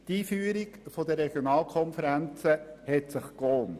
Die Einführung der Regionalkonferenzen hat sich gelohnt.